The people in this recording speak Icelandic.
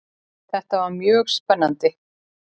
Þetta var mjög spennandi.